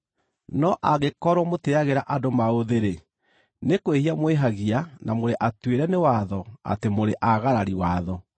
No angĩkorwo mũtĩĩagĩra andũ maũthĩ-rĩ, nĩ kwĩhia mwĩhagia na mũrĩ atuĩre nĩ watho atĩ mũrĩ aagarari watho.